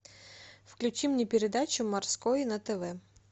включи мне передачу морской на тв